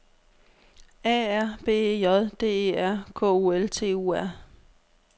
A R B E J D E R K U L T U R